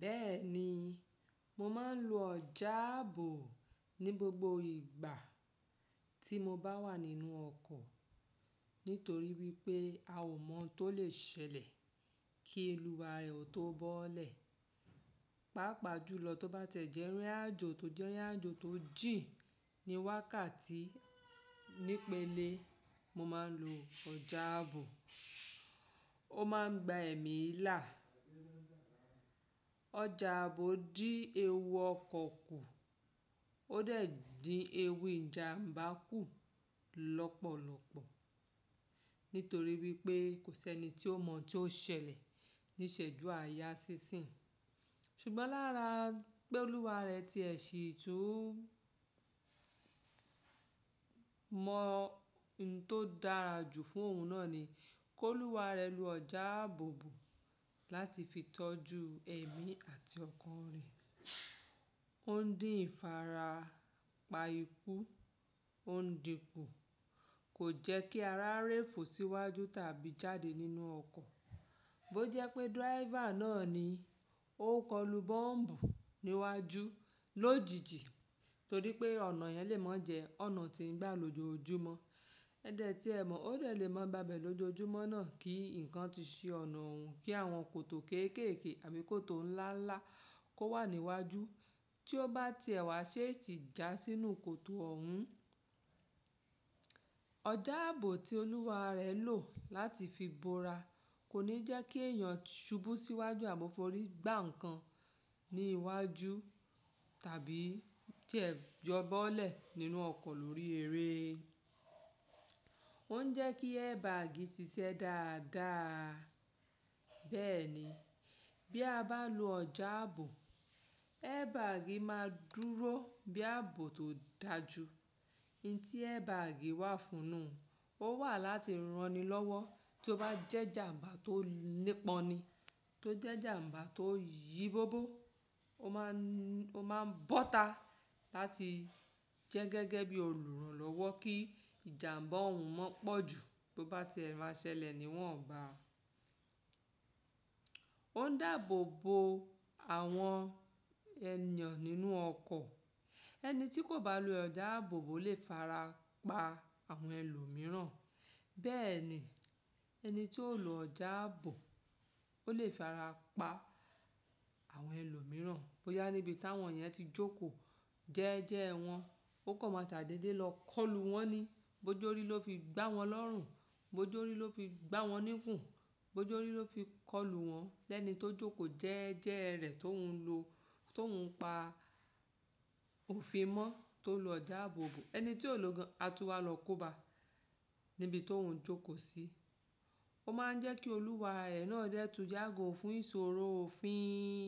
Bẹ́ẹ̀ni, mo máa ń lo ọjà ààbò ní gbogbo ìgbà tí mo bá wà nínú ọkọ̀ nítorí wípé a ò mọ̀ tó lè ṣẹlẹ̀ kí olúwa rẹ ó tó bọ́lẹ̀. Pápa jùlọ tó bá tẹ̀ jẹ́ rírin àjò tó jẹ́ rírin àjò tó jìn ní wákàtí nípele, mo máa ń lo ọjà ààbò. Ó máa ń gba ẹ̀mí là. Ọjà ààbò dín ewu ọkọ̀ kù ó dẹ̀ dín ewu ìjàmbá kù lọ́pọ̀lọ́pọ̀ nítorí wípé kò sí ẹni tí ó mọ̀ tí ó ṣẹlẹ̀ níṣẹ̀jú àyà sísìn. Ṣùgbọ́n lára pé olúwa rẹ ti ẹ sì tún mọ n tó dára jù fún òun náà ni kó olúwa rẹ lo ọjà àbò bò láti fi tọ́jú ẹ̀mí àti ọkàn rẹ. Ó ń dín ìfarapa ikú, ó ń dínku, kò jẹ́ kí ara rẹ fò síwájú tàbí jáde nínú ọkọ̀. Bí ó jẹ́ pé díráyìfà náà ni ó kọlu bọ́m̀bù níwájú lójijì torí pé ọ̀nà yẹn lè mọ́ jẹ ọ̀nà tí ń gba lòjòojúmọ́. Ẹ dẹ̀ tí ẹ mọ̀ ó dè lè mọ́ gbabẹ́ lòjojúmọ́ náà kí ǹkan tí ṣe ọ̀nà òun kí àwọn kòtò kéékèèké àbí kòtò ńlá ńlá kó wà níwájú tí ó bá ti ẹ̀wà ṣé èsí jà sínú kòtò oun Ọjà ààbò tí olúwa rẹ lò láti fi bora kò ní jẹ́ kí ẹ̀yàn ṣubú síwájú àbí fọ́rí gbá ǹkan ní iwájú tàbí jẹ́ jọ bọ́lẹ̀ nínú ọkọ̀ lórí eré. Ó ń jẹ́ kí airbag ṣiṣẹ́ dáadáa, bẹ́ẹ̀ ni bí a bá lo ọjà ààbò, airbag máa dúró bí ààbò tó dáa jù. I tí airbag wà fún nu, ó wà láti ran ni lọ́wọ́ tí ó bá jẹ́ ìjàmbá tó nípọn ni. Tó jẹ́ ìjàmbá tó yìí bóbó, ó máa ń, ó máa ń bọ́ta láti jẹ́ gẹ́gẹ́ bí olùrànlọ́wọ́ kí ìjàmbá òun má pọ̀jù bó bá ti ẹ̀ máa ṣẹlẹ̀ ni wọ́n Ó ń dabobo àwọn ènìyàn nínú ọkọ̀. Ẹni tí kò bá lo ọjà àbò bò lè fara pa àwọn ẹlòmíràn. Bẹ́ẹ̀ ni ẹni tí ó lo ọjà ààbò ó lè fara pa àwọn ẹlòmíràn bó yá níbi táwọn yẹn ti jókòó jẹ́ẹ́jẹ́ wọn. Ó kò máa ṣàdédé lọ kọlù wọ́n ni. Bojó rí ló fi gbá wọn lọ́rùn, bojó rí ló fi gbá wọn níkùn, bojó rí ló fi kọlù wọn. Lẹ́ẹ̀nì tó jókòó jẹ́ẹ́jẹ́ rẹ̀ tó ń lo, tó ń pa òfin mọ́ tó lo ọjà àbò bò. Ẹni tí ó lọ gan àtúwà lọ kóbá níbi tó ń jókòó sí. Ó máa ń jẹ́ kí olúwa rẹ náà dẹ́tu yago fún ìṣòro òfin.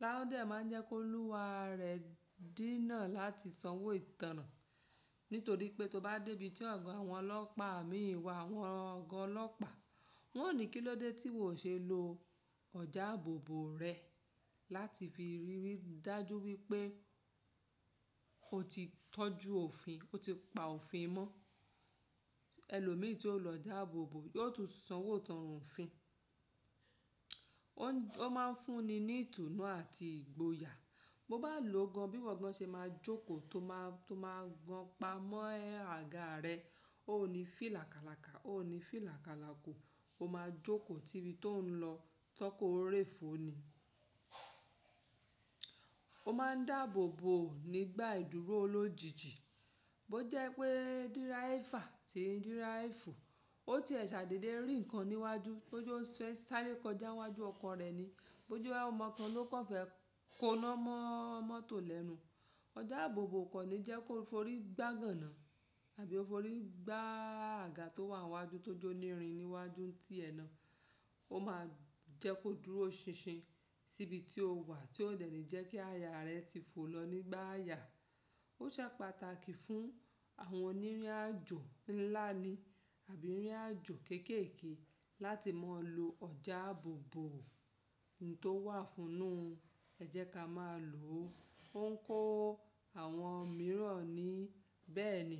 Tao dẹ̀ máa ń jẹ́ ki olúwa rẹ dí náà láti sanwó ìtánràn nítorí pé tó bá dé ibi tí ọ̀gán àwọn ọlọ́pàá mi wà, àwọn ọ̀gá ọlọ́pàá wọ́n ò ní kí ló dé tí wò ṣe lo ọjà àbò bò rẹ láti fi rírí dájú wípé o ti tọ́jú òfin, o ti pa òfin mọ́. Elòmíi tí ó lo ọjà àbò bò yóò tún sanwó ìtánràn òfin. Ó máa ń fún ni ní ìtùnú àti ìgboyà. Bo bá lòó gan bí i wọ̀ gan ṣe máa jókòó tó máa, tó máa gan pamọ́ ẹ́ àga rẹ. Ó ní fí làkalàka, ó ní fí làkalakò. O máa jókòó tí ibi tí ó ń lọ tọ́kọ rẹ fò ni. O máa ń dáàbò bò nígbà ìdúró lójijì. Bí ó jẹ́ pé díráyìfà tí ń díráyìfù ó tiẹ̀ ṣàdédé rí ǹkan níwájú, bó jo fẹ́ sáré kọjá iwájú ọkọ̀ rẹ̀ ni, bó jo áwọn ọmọ kan ló kàn fẹ́ koná mọ́ mọ́tò lẹ́nu. Ọjà àbò bò kò ní jẹ́ kó fọ́rí gbá gan gàná àbí ó fọ́rí gbá àga tó wà níwájú tó jó nírin níwájú tí ẹná. Ó máa ń jẹ́ kó dúró ṣinṣin sí ibi tí o wà tí ó dẹ̀ ní jẹ́ kí àyà rẹ ti fò lọ nígbà àyà. Ó ṣe pàtàkì fún àwọn onírìn àjò ńlá ni àbí onírìn àjò kéékèèké láti máa lo ọjà àbò bò. N tó wà fún nu, ẹ jẹ́ ká máa lò ó. Ó ń kó àwọn mìíràn ni. Bẹ́ẹ̀ ni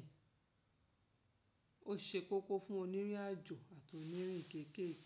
ó ṣe kókó fún onírìn àjò àti onírìn kéékèèké.